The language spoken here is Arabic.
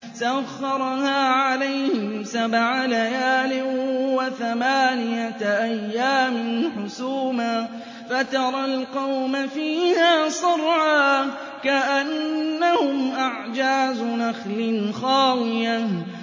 سَخَّرَهَا عَلَيْهِمْ سَبْعَ لَيَالٍ وَثَمَانِيَةَ أَيَّامٍ حُسُومًا فَتَرَى الْقَوْمَ فِيهَا صَرْعَىٰ كَأَنَّهُمْ أَعْجَازُ نَخْلٍ خَاوِيَةٍ